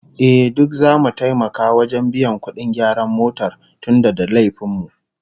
Ehh, duk zamu taimaka wajen biyan kudin gyaran motar tunda da laifin mu